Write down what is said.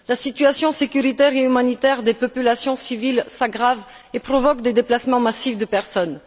La situation sécuritaire et humanitaire des populations civiles s'aggrave et provoque des déplacements massifs de personnes.